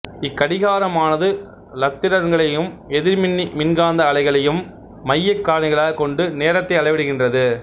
இக்கடிகாரமானது இலத்திரன்களையும் எதிர்மின்னி மின்காந்த அலைகளையும் மையக் காரணிகளாகக் கொண்டு நேரத்தை அளவிடுகின்றது